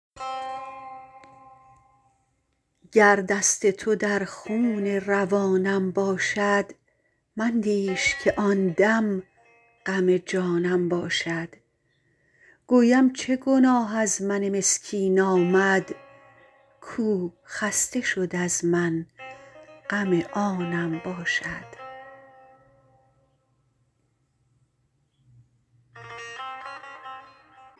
گر دست تو در خون روانم باشد مندیش که آن دم غم جانم باشد گویم چه گناه از من مسکین آمد کو خسته شد از من غم آنم باشد